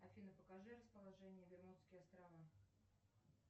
афина покажи расположение бермудские острова